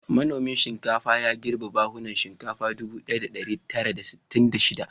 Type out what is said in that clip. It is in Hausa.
Manomin shinkafa ya girbi buhunan shinkafa ɗubu ɗaya da ɗari tara da sittin da shida.